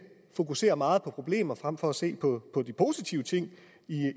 fokuserer meget på problemer frem for at se på de positive ting